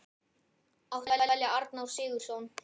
Átti að velja Arnór Sigurðsson?